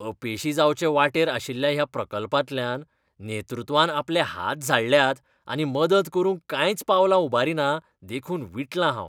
अपेशी जावचे वाटेर आशिल्ल्या ह्या प्रकल्पांतल्यान नेतृत्वान आपले हात झाडल्यात आनी मदत करूंक कांयच पावलांउबारिना देखून विटलां हांव.